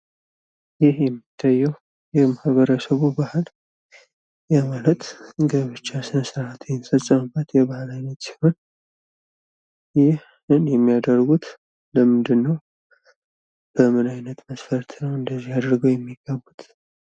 ይህ የሚታየው የማኅበረሰቡ ባህል ያ ማለት ጋብቻ ስነስርዓት የሚፈፀምበት የባህል አይነት ሲሆን ይህን የሚያደርጉት ለምንድን ነው? በምን አይነት መስፈርት ነው እንደዚህ አድርገው የሚጋቡትስ?